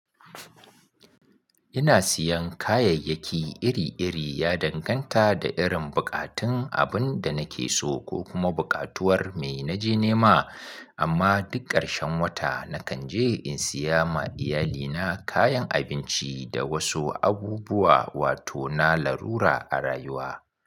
Ina siyan kayayyaki iri-iri ya danganta da irin buƙatun abin da nake so ko kuma buƙatuwar me na je nema. Amma duk ƙarshen wata nakan je in siya ma iyalina kayan abinci da wasu abubuwa, wato na larura a rayuwa.